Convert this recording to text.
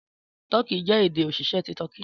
Tọki jẹ ede osise ti Tọki.